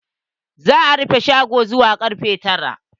Za a rufe shagon zuwa karfe tara.